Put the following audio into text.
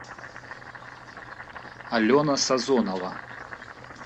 алена сазонова